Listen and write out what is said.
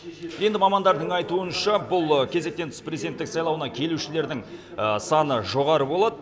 енді мамандардың айтуынша бұл кезектен тыс президенттік сайлауына келушілердің саны жоғары болады